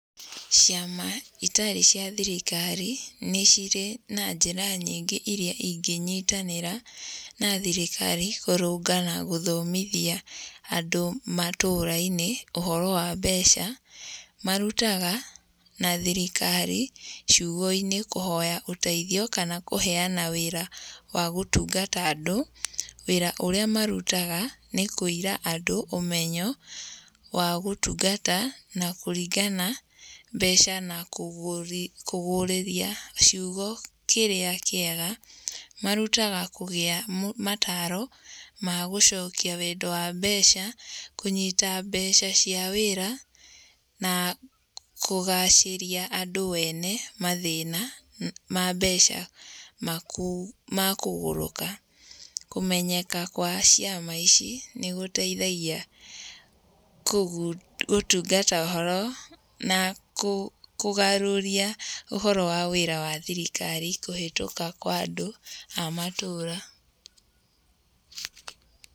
Ciama itarĩ cia thirikari nĩ cirĩ na njĩra nyingĩ iria ingĩnyitanĩra na thirikari kũrũnga na gũthomithia andũ matũra-inĩ ũhoro wa mbeca. Marutaga na thirikari ciugo-inĩ kũhoya ũteithio kũhoya kana kũheana wĩra wa gũtungata andũ. Wĩra ũrĩa marutaga ni kuĩra andũ ũmenyo wa gũtungata na kũringana mbeca na kũguũrĩria ciugo kĩrĩa kĩega. Marutaga kũgĩa mataro ma gũcokia wendo wa mbeca, kũnyita mbeca cia wĩra na kũgacĩria andũ wene mathĩna ma mbeca ma kũgũrũka. Kũmenyeka kwa ciama ici nĩ gũteithagia gũtungata ũhoro na kũgarũria ũhoro wa wĩra wa thirikari kũhĩtũka kwa andũ a matũra.